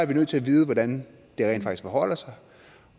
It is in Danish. nødt til at vide hvordan det rent faktisk forholder sig